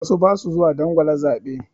Wasu ba su zuwa dangwala zaɓe.